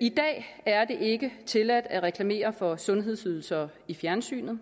i dag er det ikke tilladt at reklamere for sundhedsydelser i fjernsynet